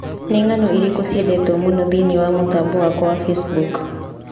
Nĩ ng'ano irĩkũ ciendetwo mũno thĩinĩ wa mũtambo wakwa wa Facebook?